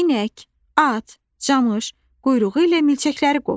İnək, at, camış, quyruğu ilə milçəkləri qovur.